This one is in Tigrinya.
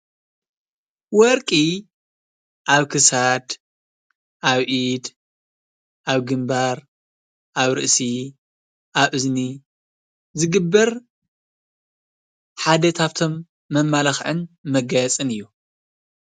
ወርቂ ኣብ ክሳድ ኣብ እድ ኣብ ግንባር ኣብ ርእሲ ኣብ እዝኒ ዝግበር ሓደ ካብቶም መማላኽዕን መጋየፂን እዩ።